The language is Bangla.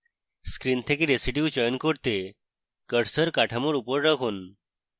screen থেকে residue চয়ন করতে cursor কাঠামোর উপর রাখুন